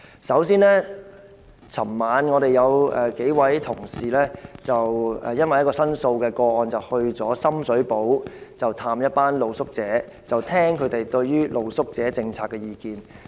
首先，昨晚我們有數位同事因為一宗申訴個案，前往深水埗探訪一群露宿者，聆聽他們對於露宿者政策的意見。